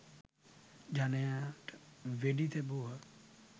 ජනයාට වෙඩි තැබූහ